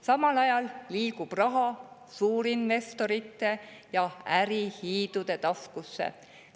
Samal ajal liigub raha suurinvestorite ja ärihiidude taskusse.